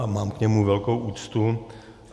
A mám k němu velkou úctu.